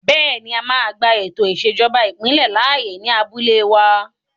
Bẹ́ẹ̀ni, a máa gba ètò ìṣèjọba ìbílẹ̀ láàyè ní abúlé wa